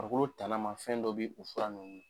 Farikolo tanama fɛn dɔ be u fura ninnu